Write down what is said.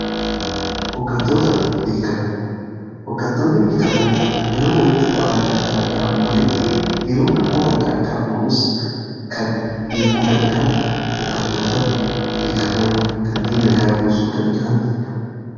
Hoggantoonni beekamoo yeroo walitti bu'aatiin adda addaa uumametti yeroo rakkoon adda addaa uumamus kan hiikuu danda'an hoggantoota beekamoodha. Kanneen nagaa buusuu danda'anidha.